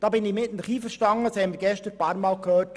Da bin ich mit Ihnen einverstanden.